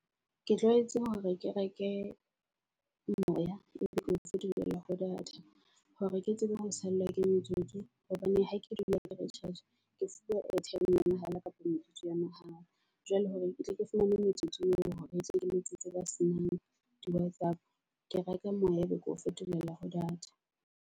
Ke tlwaetse hore ke reke moya ebe ko fetolela ho data hore ke tsebe ho sallwa ke motsotso hobane ha ke dule ke recharge. Ke sebedisa airtime ya mahala kapa metsotso ya mahala. Jwale hore ketle ke fumane metsotso eo hore ketle ke letsetse ba senang di Whatsapp. Ke reka moya, ebe ko fetolela ho data.